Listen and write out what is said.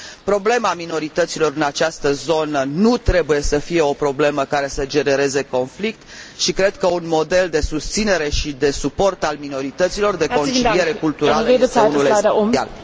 Problema minorităților în această zonă nu trebuie să fie o problemă care să genereze conflict și cred că un model de susținere și de suport al minorităților, de conciliere culturală, este unul esențial.